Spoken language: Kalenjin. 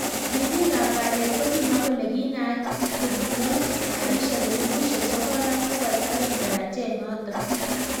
Ribik ab kalyet kokimwa kole kinaat kubunei karishek elibushek sokol ak bokol aeng tarajet notok.